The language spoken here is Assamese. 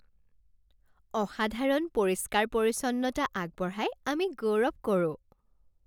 অসাধাৰণ পৰিষ্কাৰ পৰিচ্ছন্নতা আগবঢ়াই আমি গৌৰৱ কৰোঁ।